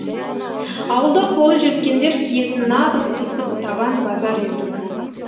ауылда қолы жеткендер киетін нағыз қисық табан базар етік